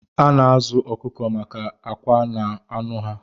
A na-azụ ọkụkọ maka akwa na anụ ha